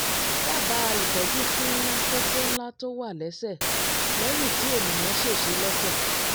dábàá ìtọ́jú fún fún kókó ńlá tó wà lẹ́sẹ̀ lẹ́yìn tí ènìyàn ṣèṣe lẹ́sẹ̀